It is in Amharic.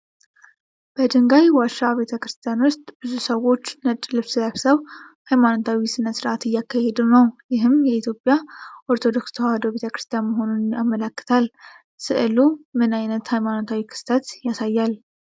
በድንጋይ ዋሻ ቤተክርስቲያን ውስጥ ብዙ ሰዎች ነጭ ልብስ ለብሰው ሃይማኖታዊ ሥነ ሥርዓት እያካሄዱ ነው። ይህም የኢትዮጵያ ኦርቶዶክስ ተዋህዶ ቤተ ክርስቲያን መሆኑን ያመለክታል። ሥዕሉ ምን ዓይነት ሃይማኖታዊ ክስተት ያሳያል?